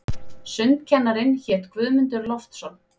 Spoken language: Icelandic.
Sundkennarinn hét Guðmundur Loftsson.